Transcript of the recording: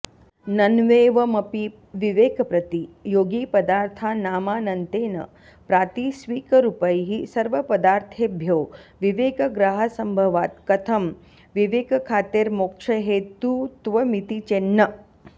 नन्वेवमपि विवेकप्रतियोगिपदार्थानामानन्त्येन प्रातिस्विकरूपैः सर्वपदार्थेभ्यो विवेकग्रहासम्भवात् कथं विवेकख्यातेर्मोक्षहेतुत्वमिति चेन्न